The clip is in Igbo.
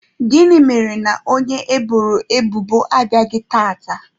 Gịnị mere na onye eboro ebubo abịaghị tata?